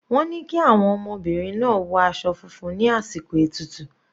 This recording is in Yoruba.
Wọ́n ni kí àwọn ọmọbìnrin náà wọ aṣọ funfun ní àsìkò ètùtù.